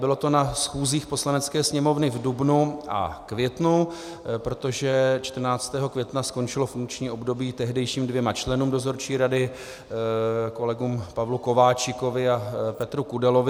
Bylo to na schůzích Poslanecké sněmovny v dubnu a květnu, protože 14. května skončilo funkční období tehdejším dvěma členům dozorčí rady, kolegům Pavlu Kováčikovi a Petru Kudelovi.